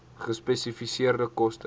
gespesifiseerde koste